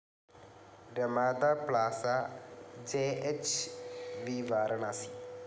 Ramada Plaza JH V Varanasi